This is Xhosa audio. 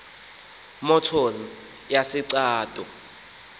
motors yase cato